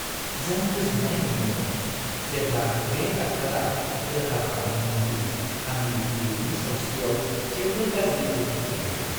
जों गोजोननाय मोनदोंमोन जेब्ला बे डाक्टारा रोखा खालामदोंमोन दि आंनि बिबैनि सावस्रियाव जेबो गाज्रि गोहोम गैया।